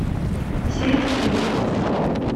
середкину